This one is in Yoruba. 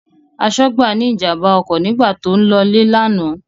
Aṣọ́gbà ní ìjàmbá ọkọ̀ nígbà tó ń lọ́lé lánàá.